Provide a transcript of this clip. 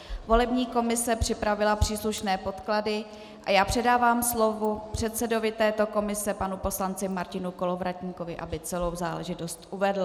Volební komise připravila příslušné podklady a já předávám slovo předsedovi této komise panu poslanci Martinu Kolovratníkovi, aby celou záležitost uvedl.